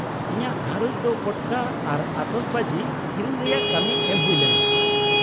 -ᱤᱧᱟᱹᱜ ᱜᱷᱟᱨᱚᱸᱡᱽ ᱫᱚ ᱯᱚᱴᱠᱟ ᱟᱨ ᱟᱛᱚᱥᱵᱟᱡᱤ ᱠᱤᱨᱤᱧ ᱨᱮᱭᱟᱜ ᱠᱟᱹᱢᱤ ᱮᱢ ᱦᱩᱭ ᱞᱮᱱᱟ ᱾